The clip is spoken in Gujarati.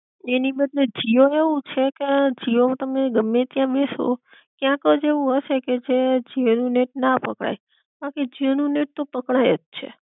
તેની બદલે જીઓ નું એવું છે કે, જીઓ માં તમે ગમે ત્યાં બેસો ક્યાંક જ એવું હશે કે જે જીઓ નું નેટ ના પકડાય બાકી, જીઓ નું નેટ તો પકડાય જ છે